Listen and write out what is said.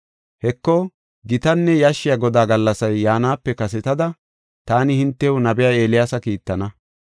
“Heko, gitanne yashshiya Godaa gallasay yaanape kasetada, taani hintew nabiya Eeliyaasa kiittana.